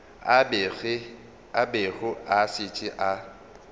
a bego a šetše a